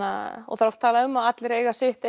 það er oft talað um að allir eigi sitt